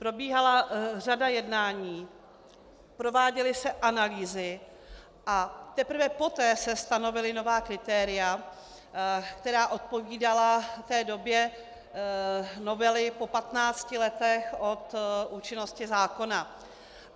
Probíhala řada jednání, prováděly se analýzy a teprve poté se stanovila nová kritéria, která odpovídala té době novely po 15 letech od účinnosti zákona.